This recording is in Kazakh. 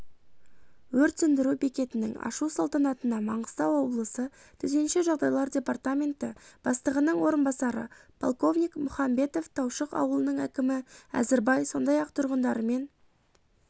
өрт сөндіру бекетінің ашу салтанатына маңғыстау облысы төтенше жағдайлар департаменті бастығының орынбасары полковник мұханбетов таушық ауылының әкімі әзірбай сондай ақ тұрғындарымен